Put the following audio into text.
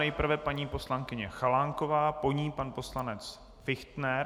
Nejprve paní poslankyně Chalánková, po ní pan poslanec Fichtner.